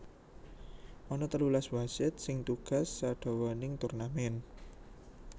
Ana telulas wasit sing tugas sadawaning turnamen